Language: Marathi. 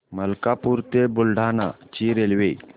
मलकापूर ते बुलढाणा ची रेल्वे